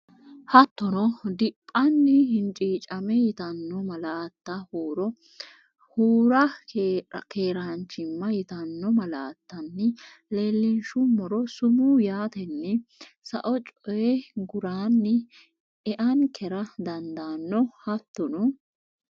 Hattono, dhibbanna hinciicamme yitanno malaatta huro hura keeraan- chimma yitanno malaattanni leellinshummoro, sumuu yaatenni sao coyi guraanni eankera dandaanno Hattono,.